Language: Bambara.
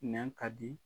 Nɛn ka di